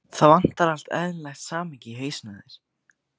Pabbinn búinn að eftirláta mömmunni húsið.